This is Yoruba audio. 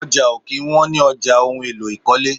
Ọjà ó kí ń wọn ní ọjà ohùn èlò ikọle